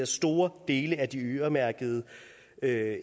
store dele af de øremærkede